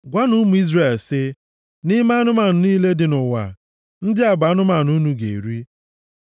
“Gwanụ ụmụ Izrel, sị, ‘Nʼime anụmanụ niile dị nʼụwa, ndị a bụ anụmanụ unu ga-eri.